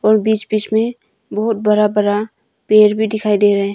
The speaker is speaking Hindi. और बीच बीच में बहुत बड़ा बड़ा पेड़ भी दिखाई दे रहे हैं।